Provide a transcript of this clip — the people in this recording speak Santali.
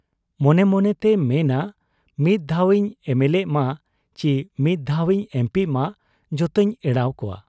ᱢᱚᱱᱮ ᱢᱚᱱᱮ ᱛᱮᱭ ᱢᱮᱱᱟ ᱢᱤᱫ ᱫᱷᱟᱣ ᱤᱧ ᱮᱢᱮᱞᱮᱜ ᱢᱟ ᱪᱤ ᱢᱤᱫ ᱫᱷᱟᱣ ᱤᱧ ᱮᱢᱯᱤᱜ ᱢᱟ, ᱡᱚᱛᱚᱧ ᱮᱲᱟᱣ ᱠᱚᱣᱟ ᱾